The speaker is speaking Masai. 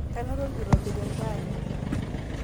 Kanoto olkirobi tentaani?